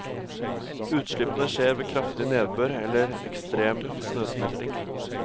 Utslippene skjer ved kraftig nedbør eller ekstrem snøsmelting.